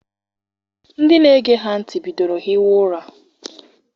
Ndị na-ege ha ntị bidoro hiwa ụra.